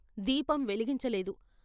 దీపం వెలిగించలేదు.